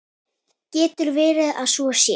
Getur verið að svo sé?